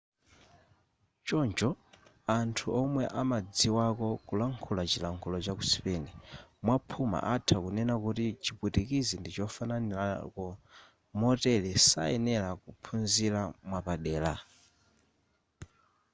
choncho anthu omwe amadziwako kulankhula chilankhulo chaku spain mwaphuma atha kunena kuti chipwitikizi ndichofananirako motere sayenera kuphunzira mwapadera